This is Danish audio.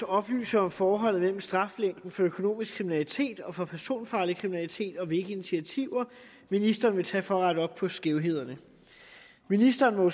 at oplyse om forholdet mellem straflængden for økonomisk kriminalitet og for personfarlig kriminalitet og hvilke initiativer ministeren vil tage for at rette op på skævhederne ministeren må jo